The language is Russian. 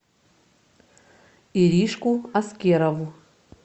иришку аскерову